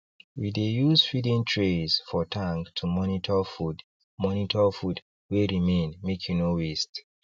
we dey use feeding trays for tank to monitor food monitor food wey remainmake e no waste